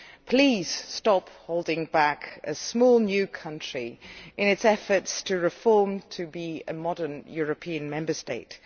Please stop holding back a small new country in its efforts to reform, to be a modern European Member State.